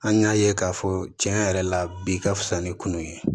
An y'a ye k'a fɔ tiɲɛ yɛrɛ la bi ka fusa ni kun ye